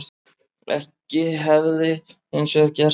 Ekkert hefði hins vegar gerst